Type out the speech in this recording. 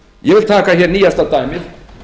ég vil taka nýjasta dæmið